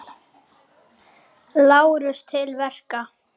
LÁRUS: Til verka!